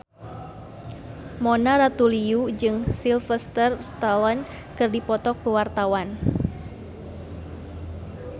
Mona Ratuliu jeung Sylvester Stallone keur dipoto ku wartawan